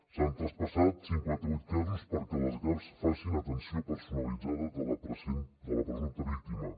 s’han traspassat cinquanta vuit casos perquè les gav facin atenció personalitzada de la presumpta víctima